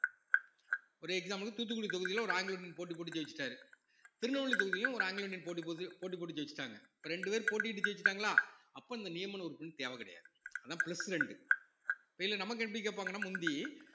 ஒரு example தூத்துக்குடி தொகுதியில ஒரு ஆங்கிலோ இந்தியன் போட்டி போட்டு ஜெயிச்சிட்டாரு திருநெல்வேலி தொகுதியில ஒரு ஆங்கிலோ இந்தியன் போட்டி போகுது போட்டி போட்டு ஜெயிச்சுட்டாங்க இப்ப ரெண்டு பேர் போட்டியிட்டு ஜெயிச்சுட்டாங்களா அப்ப இந்த நியமன உறுப்பினர் தேவை கிடையாது அதான் plus ரெண்டு இதுல நமக்கு எப்படி கேப்பாங்கன்னா முந்தி